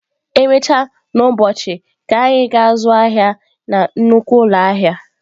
Emechaa n'ụbọchị, ka anyị gaa zụọ ahịa na nnukwu ụlọ ahịa